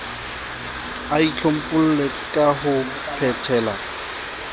a itlhompholle ka ho phetela